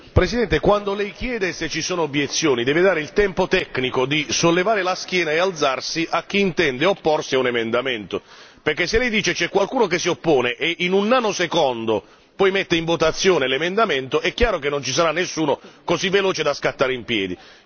Signor Presidente, quando lei chiede se ci sono obiezioni, deve dare il tempo tecnico di sollevare la scheda e alzarsi a chi intende opporsi a un emendamento. Perché se lei dice c'è qualcuno che si oppone e in un nanosecondo poi mette in votazione l'emendamento, è chiaro che non ci sarà nessuno così veloce da scattare in piedi.